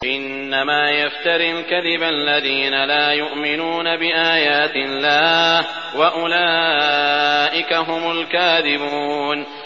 إِنَّمَا يَفْتَرِي الْكَذِبَ الَّذِينَ لَا يُؤْمِنُونَ بِآيَاتِ اللَّهِ ۖ وَأُولَٰئِكَ هُمُ الْكَاذِبُونَ